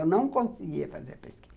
Eu não conseguia fazer pesquisa.